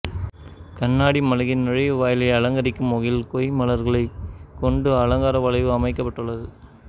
கண்ணாடி மாளிகை நுழைவு வாயிலை அலங்கரிக்கும் வகையில் கொய் மலர்களை கொண்டு அலங்கார வளைவு அமைக்கப்பட்டுள்ளது